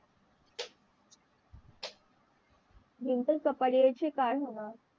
डिंपल कपाडिया चे काय होणार